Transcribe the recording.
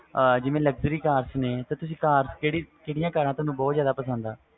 ਜਿਵੇ luxury car ਨੇ ਤੇ ਤੁਹਾਨੂੰ ਕਿਹੜੀਆਂ cars ਬਹੁਤ ਜਿਆਦਾ ਪਸੰਦ ਨੇ